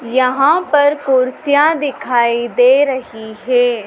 यहां पर कुर्सियां दिखाई दे रही है।